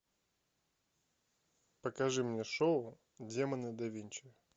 покажи мне шоу демоны да винчи